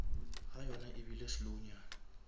ga yona ebile slow nyana